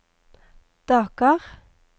Dakar